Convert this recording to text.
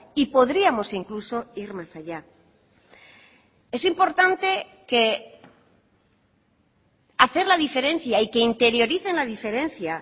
y podríamos incluso ir más allá es importante que hacer la diferencia y que interioricen la diferencia